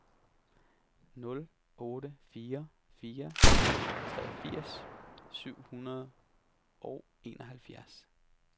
nul otte fire fire treogfirs syv hundrede og enoghalvfjerds